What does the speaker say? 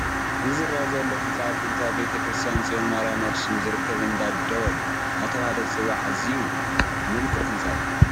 እዚ ዝርአ ዘሎ ህንፃ ኣብ ጥንታዊ ቤተ ክርስቲያን ፅዮን ማርያም ኣኽሱም ዝርከብ እንዳ ደወል እናተባህለ ዝፅዋዕ ኣዝዩ ምልኩዕ ህንፃ እዩ፡፡